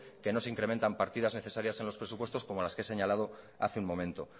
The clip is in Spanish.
que no se incrementan partidas necesarias en los presupuestos como las que he señalado hace un momento